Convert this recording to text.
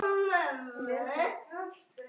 Fleiri myndir má sjá hér